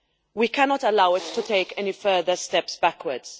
We cannot allow it to take any further steps backwards.